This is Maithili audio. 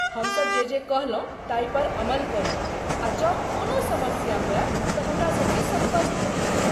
हमसब जे जे कहलहुँ ताहि पर अमल करू आ जँ कोनो समस्या होय तँ हमरासबसँ सम्पर्क करू।